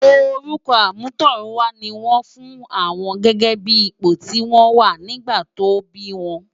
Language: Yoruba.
Órùkò àmútòrúnwá ni wòn fún áwòn gègè bi ipó ti wòn wá nigbá tò bi wòn